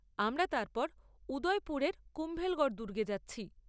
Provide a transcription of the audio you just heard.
আমরা তারপর উদয়পুরের কুম্ভলগড় দুর্গে যাচ্ছি।